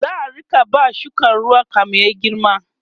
za'a Rika ba shukan ruwa kamin ya girma